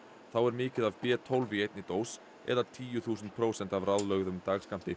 þá er mikið af b tólf í einni dós eða tíu þúsund prósent af ráðlögðum dagskammti